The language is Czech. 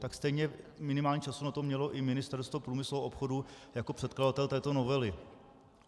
Tak stejně minimálně času na to mělo i Ministerstvo průmyslu a obchodu jako předkladatel této novely.